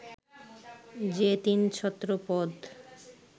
যে তিন ছত্র পদ